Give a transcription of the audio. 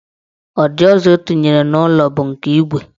Ụdị ụzọ ọ tinyere n'ụlọ bụ nke igwe.